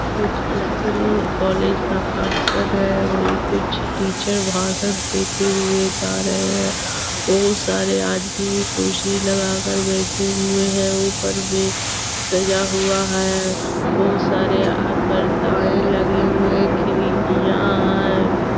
कुछ school college का function है। वहीँ कुछ टीचर भाषण देते हुए जा रहे हैं। बहुत सारे आदमी भी कुर्सी लगा कर बैठे हुए है। ऊपर में सजा हुआ है बहुत सारे यहाँ पर गाय लगे हुए हैं। खिडकियां हैं।